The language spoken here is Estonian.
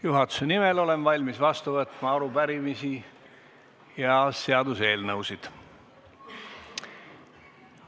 Juhatuse nimel olen valmis vastu võtma arupärimisi ja seaduseelnõusid.